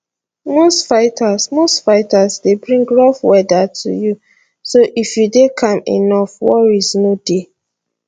most fighters most fighters dey bring rough weather to you so if you dey calm enough worries no dey